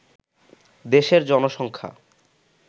দেশের জনসংখ্যা